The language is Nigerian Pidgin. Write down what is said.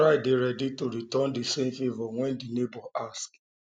try dey ready um to return di same favour when di neigbour ask